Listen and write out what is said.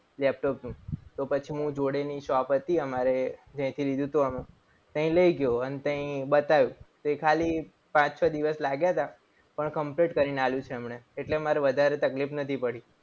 Laptop નું તો પછી હું જોડેની shop હતી અમારે તહી લઈ ગયો. અને તે બતાવ્યું તો ખાલી પાંચ છ દિવસ લાગ્યા હતા. પણ complete કરીને આપ્યું છે. એમણે એટલે મારે વધારે તકલીફ નથી પડી.